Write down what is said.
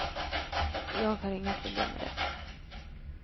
Jag har inga problem med det.